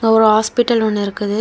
ஒரு ஹாஸ்பிடல் ஒன்னு இருக்குது.